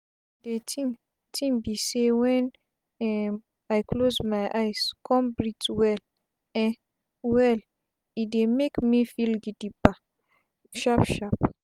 de tin tin be say wen um i close my eyes con breathe well um well e dey make me feel gidiba sharp sharp.